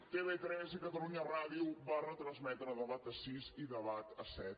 tv3 i catalunya ràdio van retransmetre debat a sis i debat a set